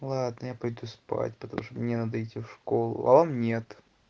ладно я пойду спать потому что мне надо идти в школу а он нет